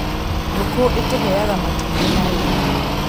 Ngũkũ ĩtũheaga matumbĩ na nyama.